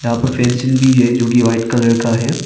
यहां पर फेंसिंग भी है जो की वाइट कलर का है।